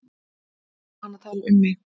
Var hann að tala um mig?